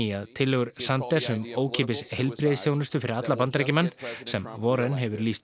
að tillögur Sanders um ókeypis heilbrigðisþjónustu fyrir alla Bandaríkjamenn sem Warren hefur lýst